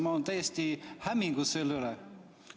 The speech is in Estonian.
Ma olen täiesti hämmingus selle üle.